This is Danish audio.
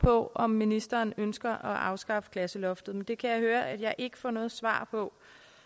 på om ministeren ønsker at afskaffe klasseloftet men det kan jeg høre at jeg ikke får noget svar på